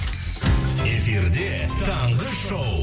эфирде таңғы шоу